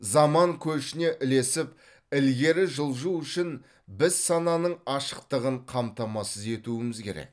заман көшіне ілесіп ілгері жылжу үшін біз сананың ашықтығын қамтамасыз етуіміз керек